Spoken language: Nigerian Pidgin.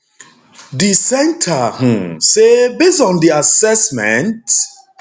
di centre um say based on di assessment